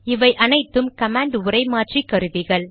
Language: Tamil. இவை அனைத்தும் கமாண்ட் உரை மாற்றி கருவிகள்